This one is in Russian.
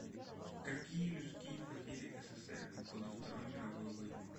какие людские потери ссср в годы второй мировой войны